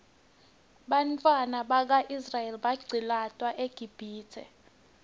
bantfwana baka israel baqcilatwa eqibhitue